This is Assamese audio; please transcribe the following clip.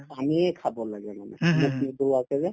পানীয়ে খাব লাগে মানে মুখ নুধুৱাকে যে